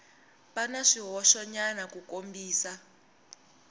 va na swihoxonyana ku kombisa